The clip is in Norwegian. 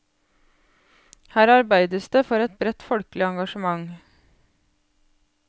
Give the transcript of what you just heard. Her arbeides det for et bredt folkelig engasjement.